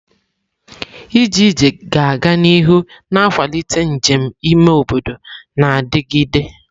Ije ije ga-aga n'ihu na-akwalite njem ime obodo na-adigide.